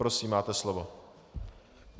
Prosím, máte slovo.